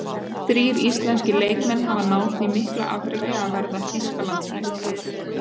Þrír íslenskir leikmenn hafa náð því mikla afreki að verða Þýskalandsmeistarar.